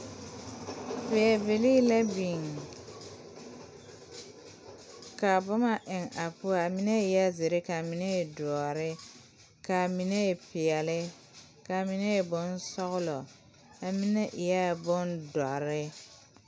Pɛbilii la biŋ ka boma eŋ a poɔ a mine e la zeere ka a mine e doɔre ka a mine e peɛlle ka a mine e bonsɔglɔ ka a mine eɛɛ bondɔre.